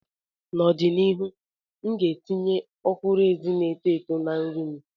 N'ọdịnihu, m ga-etinye ọkwụrụ-ezi na-eto eto na nri m.